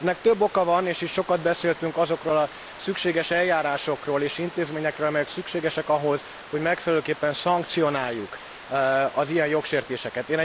Ennek több oka van, és itt sokat beszéltünk azokról a szükséges eljárásokról és intézményekről, amelyek szükségesek ahhoz, hogy megfelelőképpen szankcionáljuk az ilyen jogsértéseket.